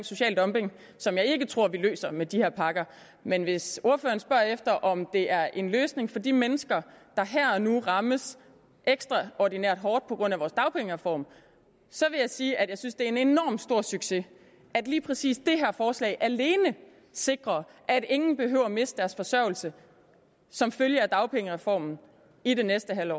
social dumping som jeg ikke tror vi løser med de her pakker men hvis ordføreren spørger efter om det er en løsning for de mennesker der her og nu rammes ekstraordinært hårdt på grund af vores dagpengereform så vil jeg sige at jeg synes det er en enormt stor succes at lige præcis det her forslag alene sikrer at ingen behøver at miste deres forsørgelse som følge af dagpengereformen i det næste halve